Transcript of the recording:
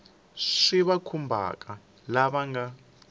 swi va khumbhaka lava nga